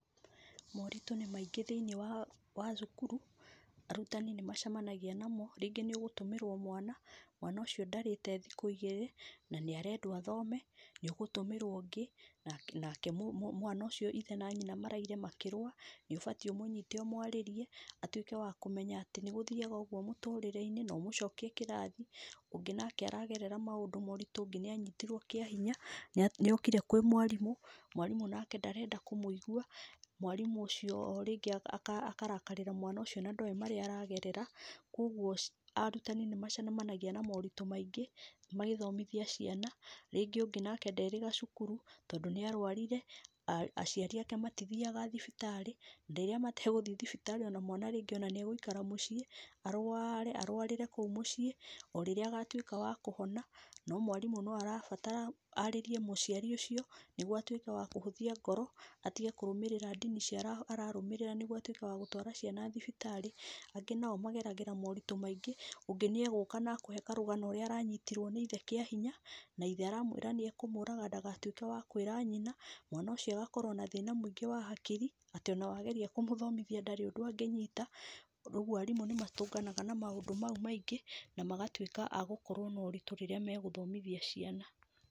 Moritũ nĩ maingĩ thĩiniĩ wa cukuru, arutani nĩ macamanagia namo, rĩngĩ nĩũgũtũmĩrwo mwana, mwana ũcio ndarĩte thikũ igĩrĩ na nĩ arendwo athome, nĩ ũgũtũmĩrwo ũngĩ, nake mwana ũcio ithe na nyina maraire makĩrũa, nĩ ũbatiĩ ũmũnyite ũmwarĩrie amenya atĩ nĩgũthiaga ũguo mũtũrĩre-inĩ na ũmũcokie kĩrathi. Ũngĩ nake aragerera maũndũ maritũ, ũngĩ nake nĩanyitirwo kĩahinya, nĩokire kwĩ mwarimũ, mwarimũ nake ndarenda kũmũigua, mwarĩmũ ũcio rĩngĩ akarakarĩra mwana ũcio na ndoĩ marĩa aragerera. Kũoguo arutani nĩ macemanagia na moritũ maingĩ magĩthomithia ciana, rĩngĩ ũngĩ nake nderĩga cukuru tondũ nĩ arwarire, aciari ake matithiaga thibitarĩ na rĩrĩa mategũthiĩ thibitarĩ mwana rĩngĩ nĩegũikara mũciĩ, arware arwarire kũu mũciĩ o rĩrĩa agatwĩka wa kũhona no mwarimũ no arabatara arĩrie mũciari ũcio nĩgui atwĩke wa kũhũthia ngoro atĩge kũrũmĩrĩra ndini icio ararũmĩrĩa nĩguo atwĩke wa gũtwara ciana thibitarĩ. Angĩ nao mageragĩra moritũ maingĩ, ũngĩ nĩegũka akũhe karũgano ũrĩa aranyitirwo nĩ ithe kĩahinya na ithe aramwĩra nĩekũmũraga ndagatwĩke wa kwĩra nyina, mwana aũcio agakorwo na thina mũingĩ wa hakiri, atĩ ona wageria kũmũthomithia ndarĩ ũndũ angĩnyita. Ũguo arimũ nĩmatũnganaga na maũndũ mau maingĩ na magatwĩka a gũkorwo na ũritũ rĩrĩa megũthomithia ciana.